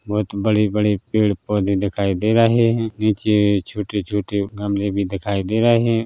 बोहत बड़े-बड़े पेड़ पौधे दिखाई दे रहे है निचे छोटे छोटे गमले भी दिखाई दे रहे हैं।